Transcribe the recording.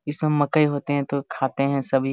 इसमें मकई होते है तो खाते है सभी।